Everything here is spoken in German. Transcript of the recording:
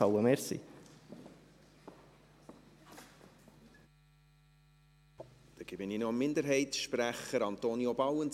Dann gebe ich noch dem Minderheitssprecher das Wort: Antonio Bauen.